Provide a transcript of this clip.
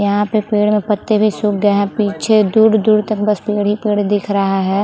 यहाँ पे पेड़ और पत्ते भी सूक गए हैं पीछे दूर-दूर तक बस पेड़ ही पेड़ दिख रहा है।